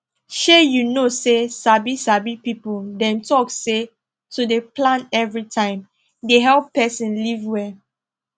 shey you know say sabi sabi people dem talk say to dey plan everytime dey help person live well